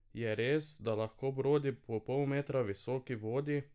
Je res, da lahko brodi po pol metra visoki vodi?